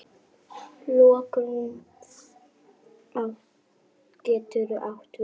Lokun getur átt við